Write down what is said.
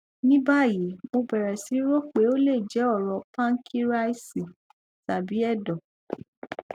ní báyìí mo bẹrẹ sí rò pé ó lè jẹ ọrọ pánkíríásì tàbí ẹdọ